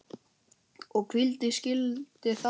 Og hví skildi það vera?